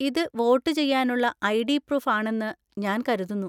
ഇത് വോട്ട് ചെയ്യാനുള്ള ID. Proof ആണെന്ന് ഞാൻ കരുതുന്നു.